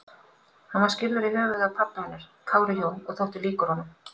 Hann var skírður í höfuðið á pabba hennar, Kári Jón, og þótti líkur honum.